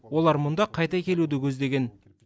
олар мұнда қайта келуді көздеген